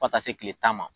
Fo ka taa se kile tan ma